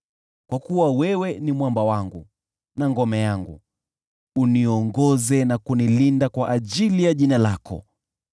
Kwa kuwa wewe ni mwamba wangu na ngome yangu, uniongoze na kunilinda kwa ajili ya jina lako.